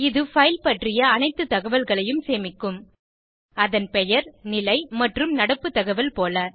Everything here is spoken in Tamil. இது பைல் பற்றிய அனைத்து தகவல்களையும் சேமிக்கும் அதன் பெயர் நிலை மற்றும் நடப்பு தகவல் போல